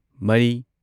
ꯃꯔꯤ